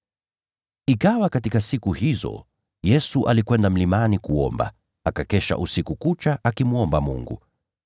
Ikawa katika siku hizo Yesu alikwenda mlimani kuomba, akakesha usiku kucha akimwomba Mungu.